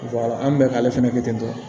an bɛ k'ale fɛnɛ kɛ ten tɔ